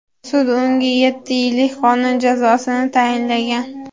Sud unga yetti yillik qamoq jazosini tayinlagan.